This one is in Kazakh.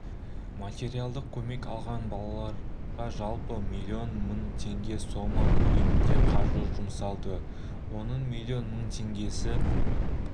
материалдық көмек алған балаларғажалпы млн мың теңге сома көлемінде қаржы жұмсалды оның млн мың теңгесі